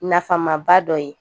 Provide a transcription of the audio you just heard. Nafamaba dɔ ye